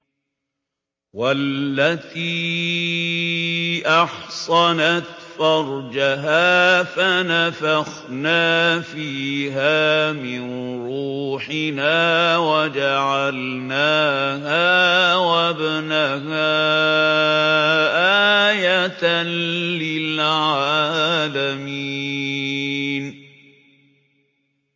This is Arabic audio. وَالَّتِي أَحْصَنَتْ فَرْجَهَا فَنَفَخْنَا فِيهَا مِن رُّوحِنَا وَجَعَلْنَاهَا وَابْنَهَا آيَةً لِّلْعَالَمِينَ